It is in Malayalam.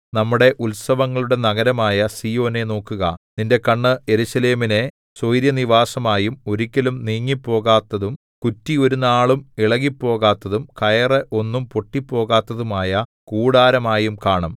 നമ്മുടെ ഉത്സവങ്ങളുടെ നഗരമായ സീയോനെ നോക്കുക നിന്റെ കണ്ണ് യെരൂശലേമിനെ സ്വൈരനിവാസമായും ഒരിക്കലും നീങ്ങിപ്പോകാത്തതും കുറ്റി ഒരുനാളും ഇളകിപ്പോകാത്തതും കയറ് ഒന്നും പൊട്ടിപ്പോകാത്തതുമായ കൂടാരമായും കാണും